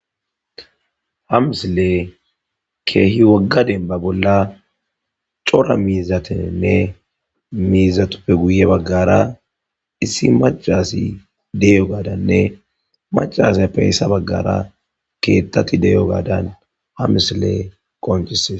ha misile ke'hi wogga denba bolla cora miizatenne miizatuppe guye baggara issi maca assi de'iyo ggadanne maca asappe yessa baggara keettati deyo gaadan ha misiley qoncisees